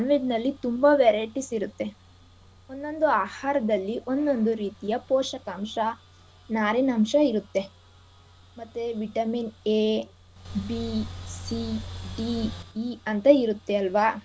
ನಲ್ಲಿ ತುಂಬಾ varieties ಇರತ್ತೆ. ಒಂದೊಂದು ಆಹಾರದಲ್ಲಿ ಒಂದೊಂದು ರೀತಿಯ ಪೋಷಕಾಂಶ ಮತ್ತೆ ನಾರಿನಂಶ ಇರತ್ತೆ . ಮತ್ತೆ vitamin a b c d e ಅಂತ ಇರತ್ತೆ ಅಲ್ವಾ.